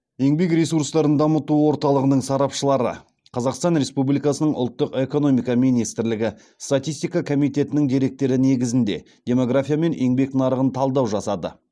еңбек ресурстарын дамыту орталығының сарапшылары қазақстан республикасының ұлттық экономика министрлігі статистика комитетінің деректері негізінде демография мен еңбек нарығын талдау жасады